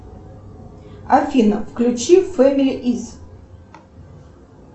афина включи фэмили из